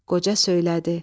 Qoca söylədi: